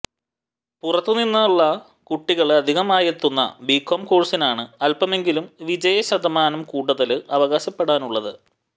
പുറത്തുനിന്നുള്ള കുട്ടികള് അധികമായെത്തുന്ന ബികോം കോഴ്സിനാണ് അല്പമെങ്കിലും വിജയശതമാനം കൂടുതല് അവകാശപ്പെടാനുള്ളത്